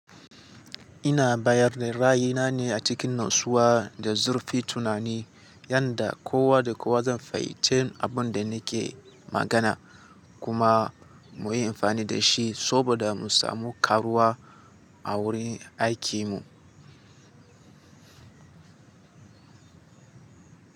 Ina bayar da ra'ayina ne a cikin natsuwa da zurfin tunani, yanda kowa da kowa zan fahimci abin da nake magana kuma muyi amfani da shi saboda mu samu karuwa a wurin aikimu.